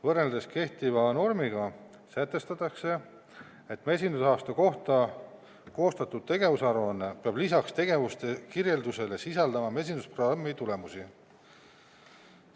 Võrreldes kehtiva normiga sätestatakse, et mesindusaasta kohta koostatud tegevusaruanne peab lisaks tegevuste kirjeldusele sisaldama mesindusprogrammi tulemusi.